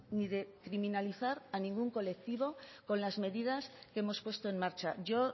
ni de criminalizar a ningún colectivo con las medidas que hemos puesto en marcha yo